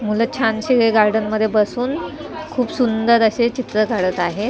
मुलं छान शीवे गार्डन मध्ये बसून खूप सुंदर असे चित्र काढत आहेत.